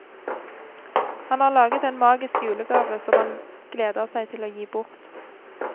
Han har laget en magisk julegave, som han gleder seg til å gi bort.